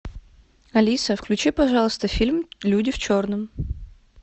алиса включи пожалуйста фильм люди в черном